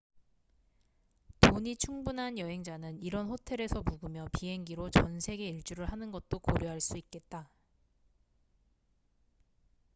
돈이 충분한 여행자는 이런 호텔에서 묵으며 비행기로 전 세계 일주를 하는 것도 고려할 수 있겠다